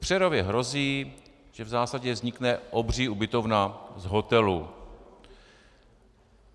V Přerově hrozí, že v zásadě vznikne obří ubytovna z hotelu.